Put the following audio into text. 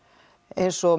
eins og